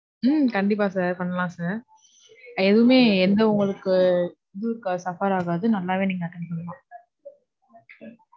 உம் கண்டிப்பா sir. பண்ணலாம் sir. எதுவுமே, எந்த உங்களுக்கு video call buffer ஆகாது. நல்லாவே நீங்க attend பன்னலாம்.